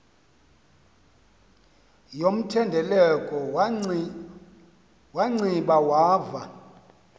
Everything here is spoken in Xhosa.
yomthendeleko wanciba wava